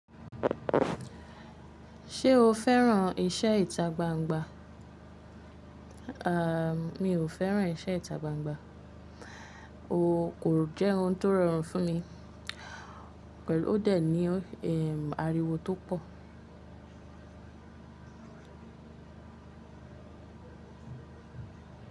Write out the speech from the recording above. Ṣé o fẹ́ràn iṣẹ́ ìta gbangba? Mi ò fẹ́ràn iṣẹ́ ìta gbangba. O kò jẹ́ ohun tó rọrùn fún mi pẹ̀lú ó dẹ̀ ní, ariwo tó pọ̀.